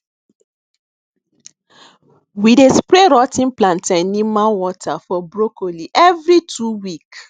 we dey spray rot ten plantanimal water for broccoli every two week